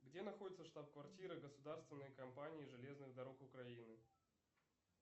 где находится штаб квартира государственной компании железных дорог украины